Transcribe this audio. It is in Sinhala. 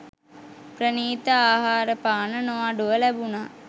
ප්‍රණීත ආහාරපාන නොඅඩුව ලැබුණා.